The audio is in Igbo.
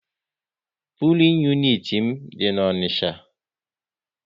Pulin uniti m dị n'Onicha